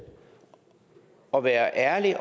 og være ærlig